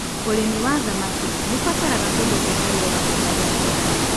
ũrĩmi wa thamaki nĩũbataraga kũndũ kwĩna rĩera rĩega rĩa kũigana.